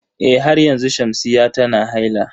Eh har yanzu Shamsiyya tana haila.